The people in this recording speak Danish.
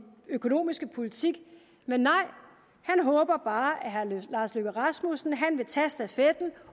økonomiske politik men nej han håber bare at herre lars løkke rasmussen vil tage stafetten